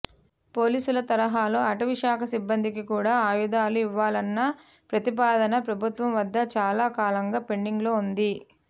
పోలీసుల తరహాలో అటవీ శాఖ సిబ్బందికి కూడా ఆయుధాలు ఇవ్వాలన్న ప్రతిపాదన ప్రభుత్వం వద్ద చాలా కాలంగా పెండింగ్లో ఉంది